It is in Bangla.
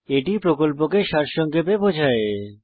এটি প্রকল্পকে সারসংক্ষেপে বোঝায়